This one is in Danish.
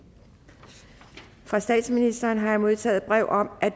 fra statsministeren har jeg modtaget brev om at